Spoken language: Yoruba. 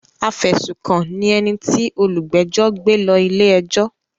Afẹ̀sùkàn ni ẹni tí òlúgbẹ́jọ́ gbé lọ ilé-ẹjọ́.